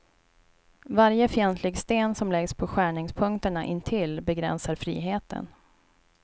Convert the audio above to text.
Varje fientlig sten som läggs på skärningspunkterna intill begränsar friheten.